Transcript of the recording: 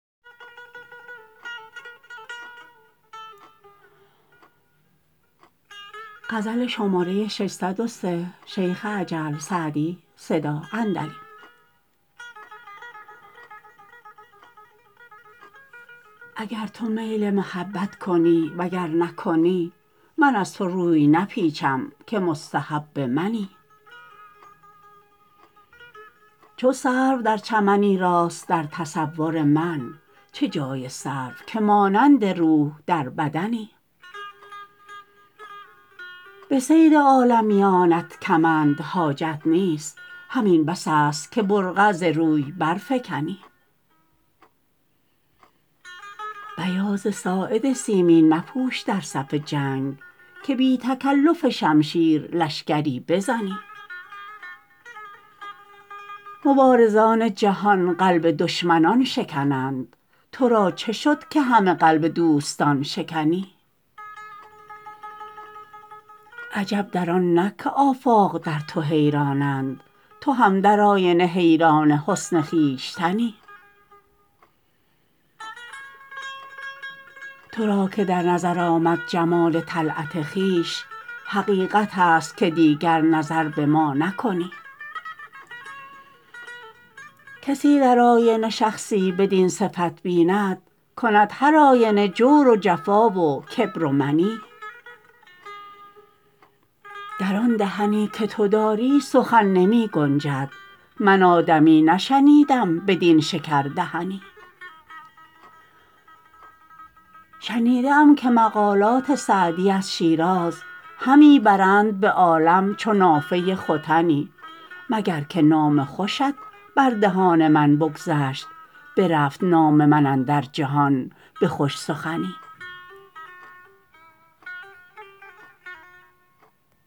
اگر تو میل محبت کنی و گر نکنی من از تو روی نپیچم که مستحب منی چو سرو در چمنی راست در تصور من چه جای سرو که مانند روح در بدنی به صید عالمیانت کمند حاجت نیست همین بس است که برقع ز روی برفکنی بیاض ساعد سیمین مپوش در صف جنگ که بی تکلف شمشیر لشکری بزنی مبارزان جهان قلب دشمنان شکنند تو را چه شد که همه قلب دوستان شکنی عجب در آن نه که آفاق در تو حیرانند تو هم در آینه حیران حسن خویشتنی تو را که در نظر آمد جمال طلعت خویش حقیقت است که دیگر نظر به ما نکنی کسی در آینه شخصی بدین صفت بیند کند هرآینه جور و جفا و کبر و منی در آن دهن که تو داری سخن نمی گنجد من آدمی نشنیدم بدین شکردهنی شنیده ای که مقالات سعدی از شیراز همی برند به عالم چو نافه ختنی مگر که نام خوشت بر دهان من بگذشت برفت نام من اندر جهان به خوش سخنی